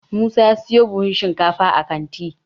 musa ya siyo buhun shinkafa a kanti